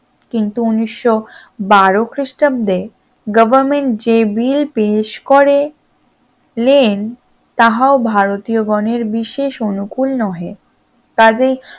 কিন্তু উনিশশ বারো খ্রিস্টাব্দে government যে bill পেশ করে করলেন তাহাও ভারতীয় গনের বিশেষ অনুকূল নহে